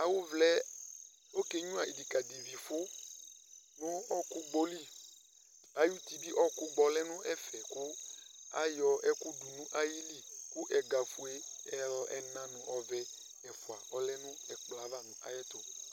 Awʋvlaɛ okenyuǝ ɩdɩkadɩvifʋ nʋ ɔɔkʋgbɔ li Ay'uti bɩ ɔɔkʋgbɔ lɛ n'ɛfɛ kʋ ayɔ ɛkʋ dʋ n'ayili ,kʋ ɛgafue ɛl ɛna nʋ ɔvɛ ɛfʋa ɔlɛ nʋ ɛkplɔɛ ava